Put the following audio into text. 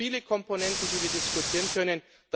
Da gibt es viele Komponenten, die wir diskutieren können.